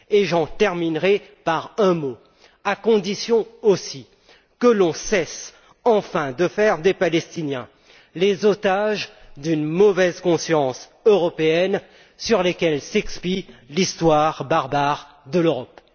Et j'en terminerai par un mot à condition aussi que l'on cesse enfin de faire des Palestiniens les otages d'une mauvaise conscience européenne sur lesquels s'expie l'histoire barbare de l'Europe.